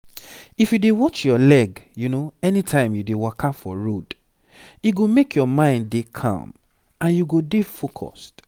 if u dey watch ur leg anytime u dey waka for road e go make ur mind dey calm and u go dey focused